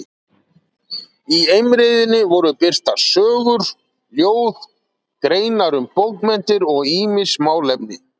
Í Eimreiðinni voru birtar sögur, ljóð, greinar um bókmenntir og ýmis málefni.